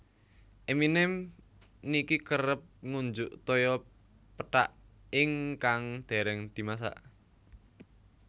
Eminem niki kerep ngunjuk toya pethak ingkang dereng dimasak